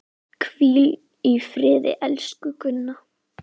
Hvíl í friði, elsku Gunna.